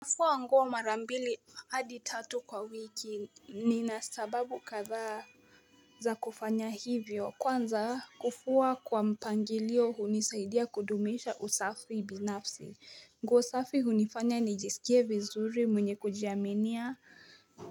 Kufua nguo mara mbili hadi tatu kwa wiki nina sababu kadhaa za kufanya hivyo kwanza kufua kwa mpangilio hunisaidia kudumisha usafi binafsi nguo safi hunifanya nijisikie vizuri mwenye kujiaminia